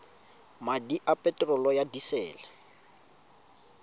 madi a peterolo ya disele